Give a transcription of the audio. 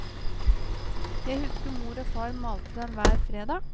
Jeg husker mor og far malte den hver fredag.